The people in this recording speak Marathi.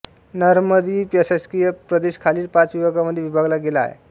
नॉर्मंदी प्रशासकीय प्रदेश खालील पाच विभागांमध्ये विभागला गेला आहे